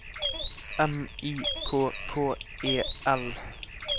M I K K E L